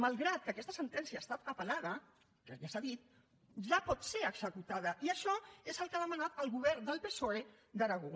malgrat que aquesta sentència ha estat apel·lada que ja s’ha dit ja pot ser executada i això és el que ha demanat el govern del psoe d’aragó